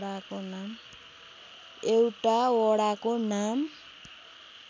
एउटा वडाको नाम